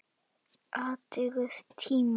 Athugið tímann.